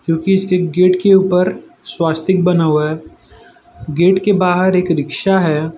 जो की इसके गेट के ऊपर स्वस्तिक बना हुआ है गेट के बाहर एक रिक्शा है।